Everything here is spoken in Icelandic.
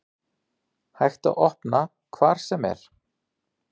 Hægt að opna hvar sem er